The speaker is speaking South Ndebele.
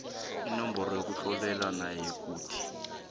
inomboro yokutloliswa nayikuthi